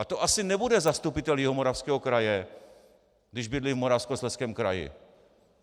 A to asi nebude zastupitel Jihomoravského kraje, když bydlí v Moravskoslezském kraji.